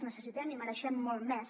necessitem i mereixem molt més